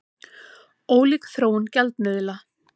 Ólík þróun gjaldmiðla